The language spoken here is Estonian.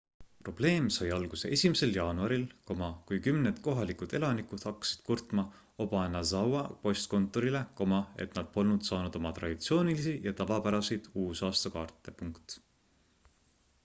probleem sai alguse 1 jaanuaril kui kümned kohalikud elanikud hakkasid kurtma obanazawa postkontorile et nad polnud saanud oma traditsioonilisi ja tavapäraseid uusaastakaarte